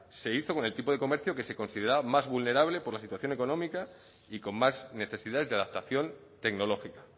se hizo con el tipo del comercio que se consideraba más vulnerable por la situación económica y con más necesidades de adaptación tecnológica